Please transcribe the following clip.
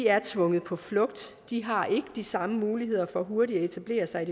er tvunget på flugt de har ikke de samme muligheder for hurtigt at etablere sig